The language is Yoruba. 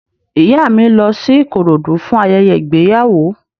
Ìyá mi lọ sí Ìkòròdú fún ayẹyẹ ìgbéyàwó